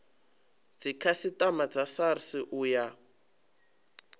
dzikhasiama dza srsa u ya